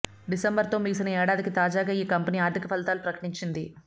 డిసెంబర్తో ముగిసిన ఏడాదికి తాజాగా ఈ కంపెనీ ఆర్థిక ఫలితాలు ప్రకటించింది